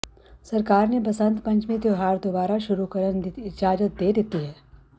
ਸਰਕਾਰ ਨੇ ਬਸੰਤ ਪੰਚਮੀ ਤਿਉਹਾਰ ਦੁਬਾਰਾ ਸ਼ੁਰੂ ਕਰਨ ਦੀ ਇਜਾਜ਼ਤ ਦੇ ਦਿੱਤੀ ਹੈ